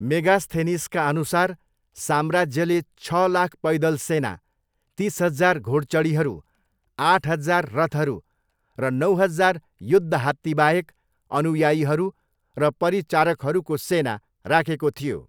मेगास्थेनिसका अनुसार, साम्राज्यले छ लाख पैदल सेना, तिस हजार घोडचढीहरू, आठ हजार रथहरू र नौ हजार युद्ध हात्तीबाहेक अनुयायीहरू र परिचारकहरूको सेना राखेको थियो।